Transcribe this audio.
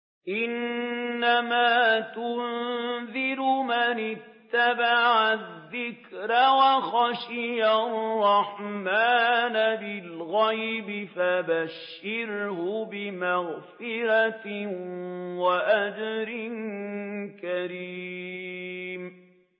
إِنَّمَا تُنذِرُ مَنِ اتَّبَعَ الذِّكْرَ وَخَشِيَ الرَّحْمَٰنَ بِالْغَيْبِ ۖ فَبَشِّرْهُ بِمَغْفِرَةٍ وَأَجْرٍ كَرِيمٍ